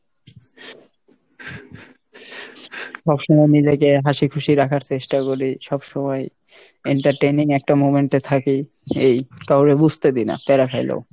সব সময় নিজেকে হাসি খুশি রাখার চেষ্টা করি, সব সময় entertaining একটা moment এ থাকি এই, কাওরে বুজতে দিই না প্যারা খাইলেও।